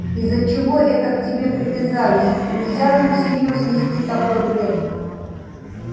из-за чего это к тебе и привязались нельзя же всерьёз нести такой бред